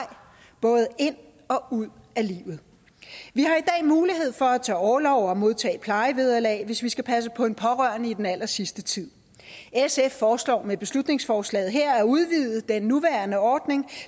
både ind og ud af livet vi har i dag mulighed for at tage orlov og modtage plejevederlag hvis vi skal passe på en pårørende i den allersidste tid sf foreslår med beslutningsforslaget her at udvide den nuværende ordning